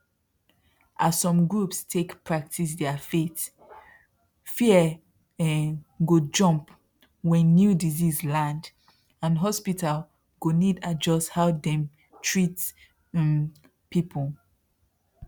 as some groups take practice their faith fear um go jump when new disease land and hospital go need adjust how dem treat um people